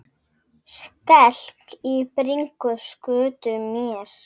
Skelk í bringu skutu mér.